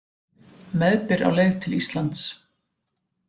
Meðbyr á leið til Íslands